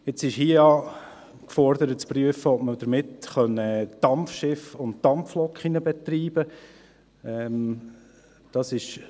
Jetzt ist hier ja gefordert, zu prüfen, ob man damit Dampfschiffe und Dampflokomotiven betreiben könnte.